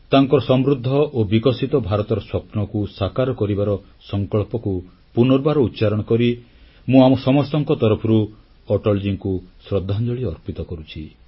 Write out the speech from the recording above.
ତାଙ୍କର ସମୃଦ୍ଧ ଓ ବିକଶିତ ଭାରତର ସ୍ୱପ୍ନକୁ ସାକାର କରିବାର ସଂକଳ୍ପକୁ ପୁନର୍ବାର ଉଚ୍ଚାରଣ କରି ମୁଁ ଆମ ସମସ୍ତଙ୍କ ତରଫରୁ ଅଟଲଜୀଙ୍କୁ ଶ୍ରଦ୍ଧାଞ୍ଜଳି ଅର୍ପିତ କରୁଛି